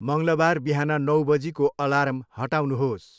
मङ्लबार बिहान नौ बजीको अलार्म हटाउनुहोस्।